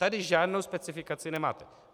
Tady žádnou specifikaci nemáte.